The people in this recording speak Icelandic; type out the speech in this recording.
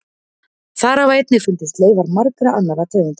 Þar hafa einnig fundist leifar margra annarra tegunda.